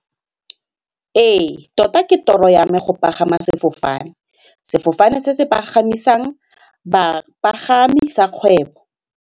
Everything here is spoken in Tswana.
Ee tota ke tiro yame go pagama sefofane, sefofane se se pagamisang bapagami sa kgwebo.